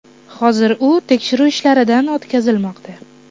Hozir u tekshiruv ishlaridan o‘tkazilmoqda.